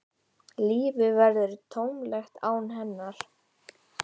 Lífið verður tómlegt án hennar.